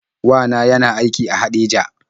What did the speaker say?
Wa na yana aiki a Haɗeja.